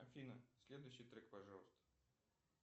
афина следующий трек пожалуйста